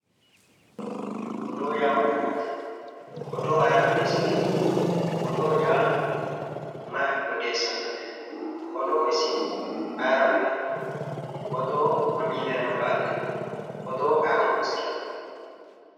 Odoo yaa mayyaate? Odoo ayira odeessinanni? Odoo yaa mayi odeessannote? Odoo isi ayira uyinanni? Odoo mamii dayino qaaleeti? Odoo ayi horoonsiranno?